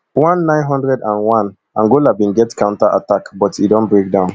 one nine hundred and oneangola bin get counter attack but e don break down